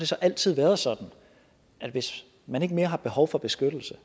så altid været sådan at hvis man ikke mere har behov for beskyttelse